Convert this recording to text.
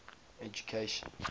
education